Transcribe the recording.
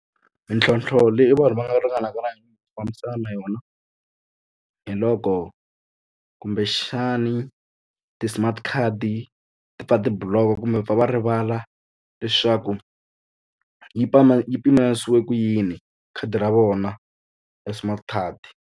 Mintlhontlho leyi vanhu va nga ringanaka na fambisana na yona hi loko kumbexani ti-smart card ti pfa ti-block kumbe pfa va rivala leswaku yi tshama yi yi pimanisiwe ku yini khadi ra vona ra smart card.